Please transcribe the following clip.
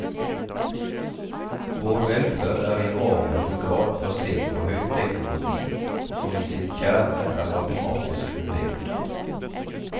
Vår velferd er i avgjørende grad basert på høyteknologi som i sin kjerne er matematisk fundert.